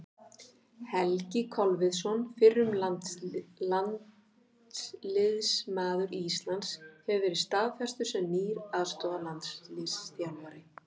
Helgi Kolviðsson, fyrrum landsliðsmaður Íslands, hefur verið staðfestur sem nýr aðstoðarlandsliðsþjálfari.